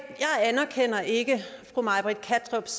anerkender ikke fru may britt kattrups